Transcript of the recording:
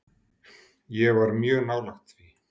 Ég var mjög nálægt því.